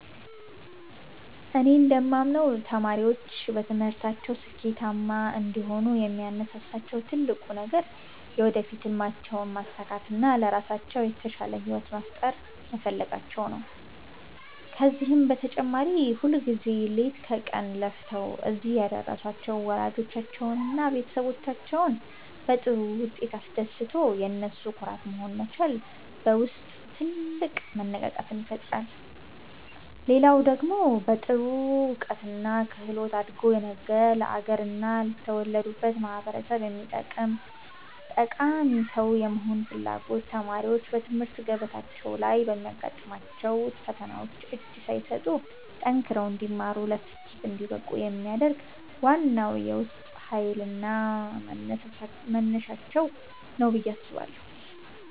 እኔ እንደማምነው ተማሪዎች በትምህርታቸው ስኬታማ እንዲሆኑ የሚያነሳሳቸው ትልቁ ነገር የወደፊት ሕልማቸውን ማሳካትና ለራሳቸው የተሻለ ሕይወት መፍጠር መፈለጋቸው ነው። ከዚህም በተጨማሪ ሁልጊዜ ሌት ከቀን ለፍተው እዚህ ያደረሷቸውን ወላጆቻቸውንና ቤተሰቦቻቸውን በጥሩ ውጤት አስደስቶ የነሱ ኩራት መሆን መቻል በውስጥ ትልቅ መነቃቃትን ይፈጥራል። ሌላው ደግሞ በጥሩ እውቀትና ክህሎት አድጎ ነገ ለአገርና ለተወለዱበት ማኅበረሰብ የሚጠቅም ጠቃሚ ሰው የመሆን ፍላጎት ተማሪዎች በትምህርት ገበታቸው ላይ ለሚያጋጥሟቸው ፈተናዎች እጅ ሳይሰጡ ጠንክረው እንዲማሩና ለስኬት እንዲበቁ የሚያደርግ ዋናው የውስጥ ኃይልና መነሳሻቸው ነው ብዬ አስባለሁ።